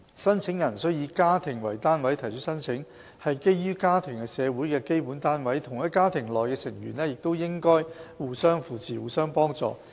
申請人須以家庭為單位提出申請，是基於家庭是社會的基本單位，同一家庭內的成員應互相扶持，互相幫助。